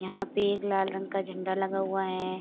यहाँ पे एक लाल रंग का झंडा लगा हुआ है।